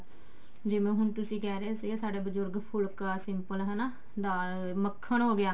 ਜਿਵੇਂ ਹੁਣ ਤੁਸੀਂ ਕਹਿ ਰਹੇ ਸੀਗੇ ਸਾਡਾ ਬਜੁਰਗ ਫੁਲਕਾ simple ਹਨਾ ਦਾਲ ਮੱਖਣ ਹੋਗਿਆ